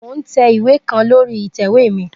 Mo n tẹ iwe kan lori itẹ̀wé mi.